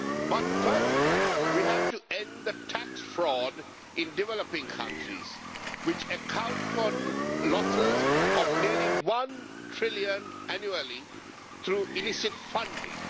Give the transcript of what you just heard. But first we have to end the tax fraud in developing countries, which accounts for losses of nearly 1 trillion annually through illicit funding.